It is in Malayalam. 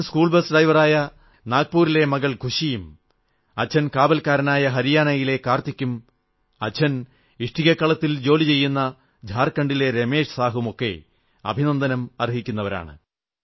അച്ഛൻ സ്കൂൾ ബസ് ഡ്രൈവറായ നാഗപൂരിലെ മകൾ ഖുശിയും അച്ഛൻ കാവൽക്കാരനായ ഹരിയാനയിലെ കാർത്തികും അച്ഛൻ ഇഷ്ടികക്കളത്തിൽ ജോലിചെയ്യുന്ന ജാർഖണ്ഡിലെ രമേശ് സാഹുവും ഒക്കെ അഭിനന്ദനം അർഹിക്കുന്നവരാണ്